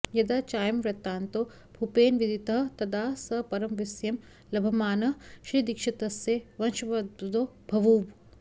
यदा चायं वृत्तान्तो भूपेन विदितः तदा स परमविस्मयं लभमानः श्रीदीक्षितस्य वशंब्वदो बभूव